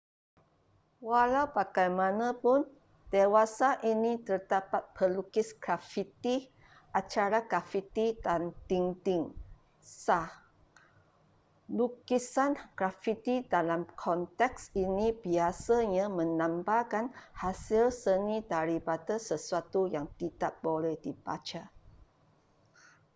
walau bagaimanapun dewasa ini terdapat pelukis grafiti acara grafiti dan dinding' sah lukisan grafiti dalam konteks ini biasanya melambangkan hasil seni daripada sesuatu yang tidak boleh dibaca